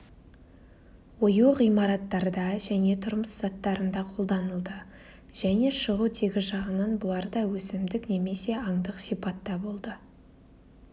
ою ғимараттарда және тұрмыс заттарында қолданылды және шығу тегі жағынан бұлар да өсімдік немесе аңдық сипатта болды